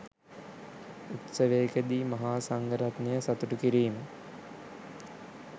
උත්සවයකදී මහා සංඝ රත්නය සතුටු කිරීම